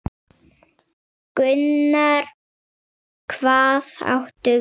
Gunnar: Hvað áttu við?